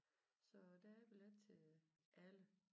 Så der er billet til alle